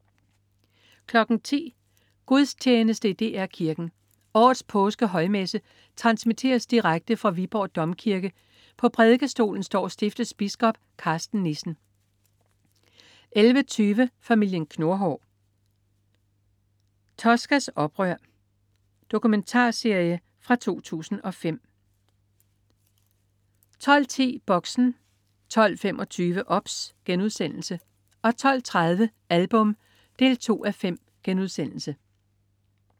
10.00 Gudstjeneste i DR Kirken. Årets påskehøjmesse transmitteres direkte fra Viborg Domkirke. På prædikestolen står stiftets biskop Karsten Nissen 11.20 Familien Knurhår. Toscas oprør. Engelsk dokumentarserie fra 2005 12.10 Boxen 12.25 OBS* 12.30 Album 2:5*